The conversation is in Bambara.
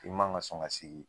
I ma ŋa sɔn ka sigi